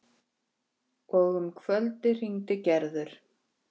Að ósk hennar muni rætast.